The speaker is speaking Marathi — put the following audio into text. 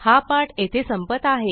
हा पाठ येथे संपत आहे